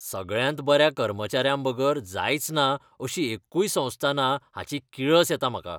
सगळ्यांत बऱ्या कर्मचाऱ्यांबगर जायचना अशी एक्कूय संस्था ना हाची किळस येता म्हाका.